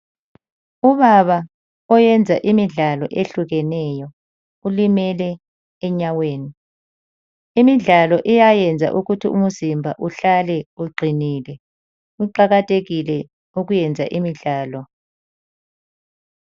Ubaba oyenza imidlalo ehlukeneyo ulimele enyaweni ,imidlalo iyayenza ukuthi umzimba uhlale uqinile. Kuqakathekile ukwenza imidlalo.